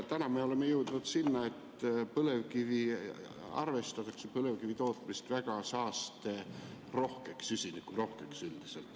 Täna me oleme jõudnud sinna, et põlevkivi, põlevkivitootmist arvestatakse üldiselt väga saasterohkeks, süsinikurohkeks.